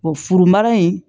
furu mara in